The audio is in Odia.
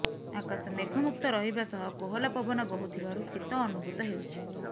ଆକାଶ ମେଘମୁକ୍ତ ରହିବା ସହ କୋହଲା ପବନ ବହୁଥିବାରୁ ଶୀତ ଅନୁଭୂତ ହେଉଛି